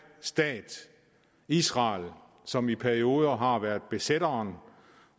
stat israel som i perioder har været besætteren